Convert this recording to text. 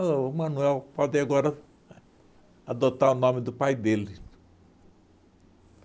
O Manuel pode agora adotar o nome do pai dele.